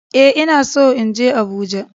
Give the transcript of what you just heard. Ee, ina son in je Abuja